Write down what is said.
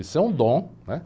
Isso é um dom, né?